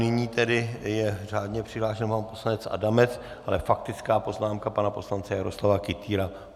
Nyní tedy je řádně přihlášen pan poslanec Adamec, ale faktická poznámka pana poslance Jaroslava Kytýra.